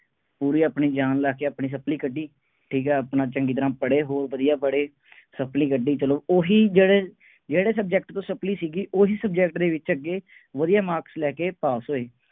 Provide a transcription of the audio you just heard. ਪੂਰੀ ਆਪਣੀ ਜਾਨ ਲਾ ਕੇ ਆਪਣੀ supply ਕੱਢੀ। ਠੀਕ ਹੈ, ਆਪਣਾ ਚੰਗੀ ਤਰ੍ਹਾ ਪੜ੍ਹੇ ਉਹ ਵਧੀਆ ਪੜ੍ਹੇ, supply ਕੱਢੀ ਚੱਲੋ, ਉਹੀ ਜਿਹੜੇ ਜਿਹੜੇ subject ਤੋਂ supply ਸੀਗੀ, ਉਹੀ subject ਦੇ ਵਿੱਚ ਅੱਗੇ, ਵਧੀਆ marks ਲੈ ਕੇ pass ਹੋਈ।